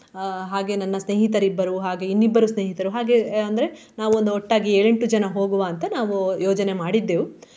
ಅಹ್ ಹಾಗೆ ನನ್ನ ಸ್ನೇಹಿತರಿಬ್ಬರು ಹಾಗೆ ಇನ್ನಿಬ್ಬರು ಸ್ನೇಹಿತರು ಹಾಗೆ ಅಂದ್ರೆ ನಾವೊಂದು ಒಟ್ಟಾಗಿ ಏಳೆಂಟು ಜನ ಹೋಗುವ ಅಂತ ನಾವು ಯೋಜನೆ ಮಾಡಿದ್ದೆವು.